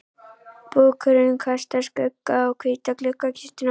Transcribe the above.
Búkurinn kastar skugga á hvíta gluggakistuna.